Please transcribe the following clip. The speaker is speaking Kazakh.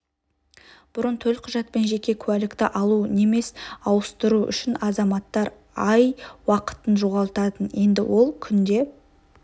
бұрын төлқұжат пен жеке куәлікті алу немес ауыстыру үшін азаматтар ай уақытын жоғалтатын енді ол күнде